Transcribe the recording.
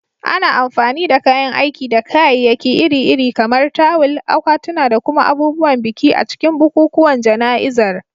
Ana amfani da kayan aiki da kayayyaki iri-iri, kamar tawul, akwatuna, da kuma abubuwan biki, a cikin bukukuwan jana'izar.